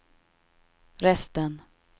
resten